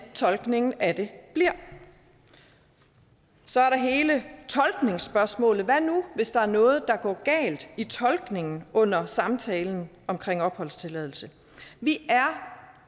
tolkningen af det bliver så er der hele tolkningsspørgsmålet hvad nu hvis der er noget der går galt i tolkningen under samtalen om opholdstilladelse vi er